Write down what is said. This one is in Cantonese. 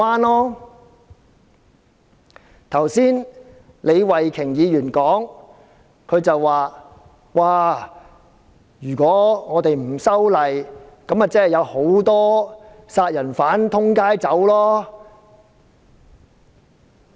李慧琼議員剛才說，不修例，豈不是會有很多殺人犯在街上亂走？